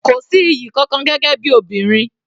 Kò sí iyì kankan gẹ́gẹ́ bí obìnrin.